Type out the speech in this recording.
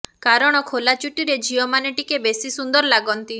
କାରଣ ଖୋଲା ଚୁଟିରେ ଝିଅମାନେ ଟିକେ ବେଶି ସୁନ୍ଦର ଲାଗନ୍ତି